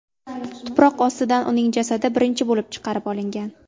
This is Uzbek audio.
Tuproq ostidan uning jasadi birinchi bo‘lib chiqarib olingan .